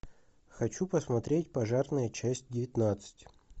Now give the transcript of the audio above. хочу посмотреть пожарные часть девятнадцать